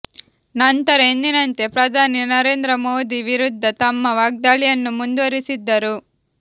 ನಂತರ ಎಂದಿನಂತೆ ಪ್ರಧಾನಿ ನರೇಂದ್ರ ಮೋದಿ ವಿರುದ್ಧ ತಮ್ಮ ವಾಗ್ದಾಳಿಯನ್ನು ಮುಂದುವರೆಸಿದ್ದರು